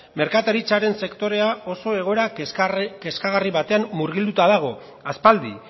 merkataritzaren sektorea oso egoera kezkagarri batean murgilduta dago aspaldi